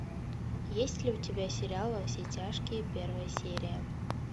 есть ли у тебя сериал во все тяжкие первая серия